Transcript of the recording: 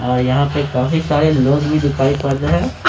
और यहां पर काफी सारे लोग दिखाई पड़ रहे हैं।